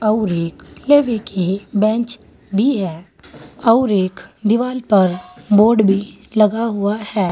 और एक की बेंच भी है और एक दीवाल पर बोर्ड भी लगा हुआ है।